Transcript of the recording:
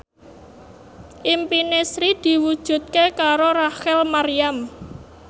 impine Sri diwujudke karo Rachel Maryam